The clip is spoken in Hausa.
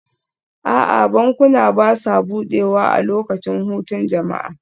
A'a, bankuna ba sa buɗewa a lokacin hutun jama'a